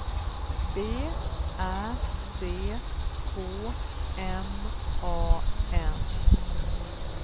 B Ä C K M A N